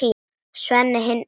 Sveinn hinn illi.